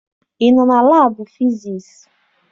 Ị nọ na laabụ fisiisi?